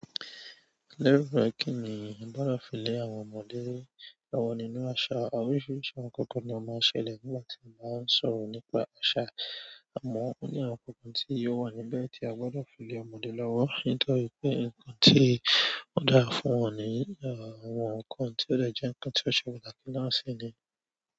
Lẹ́rú rẹ̀ kí nìí gbọ́dọ̀ fi lé àwọn ọmọdé lọ́wọ́ nínú àṣà. Òrisìírísìí àwọn ǹkan kan ni a máa ń ṣe lè nígbà tí a bá ń sọ̀rọ̀ nípa àṣà. Àmọ́, ó ní àwọn ǹkan tí yóò wà níbẹ̀ tí a gbọ́dọ̀ fi lé ọmọdé lọ́wọ́ nítorí pé ǹkan tí ó dáa fún wọn ni àwọn ǹkan tí ó lè jẹ́ ǹkan tí ó ṣe pàtàkì náà si ni.